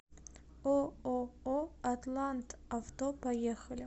ооо атлантавто поехали